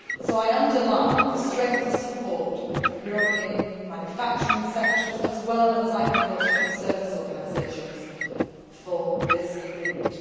I underline the strength of support from European manufacturing sectors, as well as agriculture and service organisations, for this agreement.